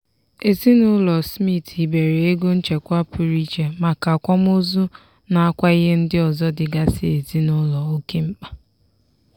ezinụlọ smith hibere ego nchekwa pụrụ iche maka akwamozu nakwa ihe ndị ọzọ dịgasị ezinụlọ oke mkpa.